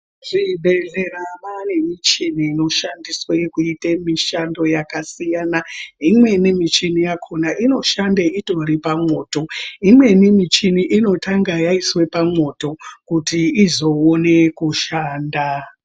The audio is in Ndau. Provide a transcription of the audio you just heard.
Kuzvibhedhlera kwane michini inoshandiswa mabasa akasiyana eimweni michini yakona inoshanda itori pamwoto imweni michina inotanga yaiswe pamoto kuti izoone kushanda.